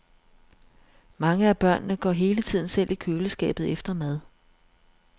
Mange af børnene går hele tiden selv i køleskabet efter mad.